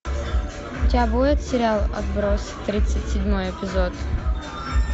у тебя будет сериал отбросы тридцать седьмой эпизод